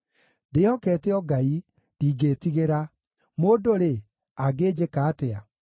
ndĩhokete o Ngai; ndingĩĩtigĩra. Mũndũ-rĩ, angĩnjĩka atĩa?